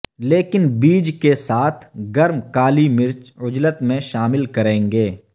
لیکن بیج کے ساتھ گرم کالی مرچ عجلت میں شامل کریں گے